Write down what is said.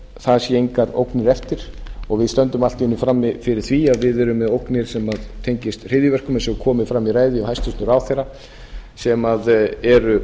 það séu engar ógnir eftir og við stöndum allt í einu frammi fyrir því að við erum með ógnir sem tengjast hryðjuverkum eins og kom fram í ræðu hjá hæstvirtum ráðherra sem eru